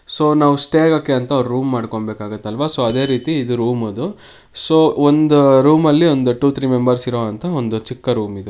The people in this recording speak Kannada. ಸೊ ನಾವು ಸ್ಟೇ ಆಗೋಕೆ ಅಂತ ಒಂದು ರೂಮ್ ಮಾಡ್ಕೋ ಬೇಕಾಗುತ್ತಲ್ವಾ ಸೊ ಅದಕ್ಕೆ ರೂಮ್ ಅನ್ನೋದು ಸೊ ಒಂದು ರೂಮಲ್ಲಿ ವನ್ ಟು ತ್ರೀ ಮೆಂಬರ್ಸ್ ಇರುವಂತಹ ಒಂದು ಚಿಕ್ಕ ರೂಂ ಇದು.